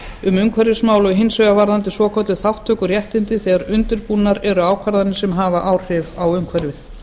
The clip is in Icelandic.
um umhverfismál og hins vegar varðandi svokölluð þátttökuréttindi þegar undirbúnar eru ákvarðanir sem hafa áhrif á umhverfið